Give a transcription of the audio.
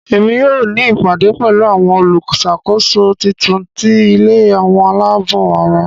Emi yoo ni ìpàdé pẹ̀lu àwon olúṣàkóso titun ti ilé àwọn aláàbò ara.